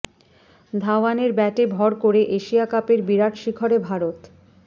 ধাওয়ানের ব্যাটে ভর করে এশিয়া কাপের বিরাট শিখরে ভারত